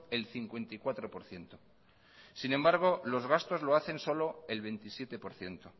el cincuenta y cuatro por ciento sin embargo los gastos lo hacen solo el veintisiete por ciento